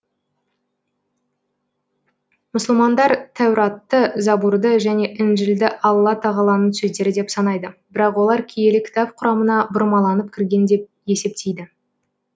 мұсылмандар тәуратты забурды және інжілді алла тағаланың сөздері деп санайды бірақ олар киелі кітап құрамына бұрмаланып кірген деп есептейді